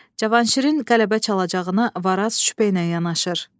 Cavanşirin qələbə çalacağına Varaz şübhə ilə yanaşır.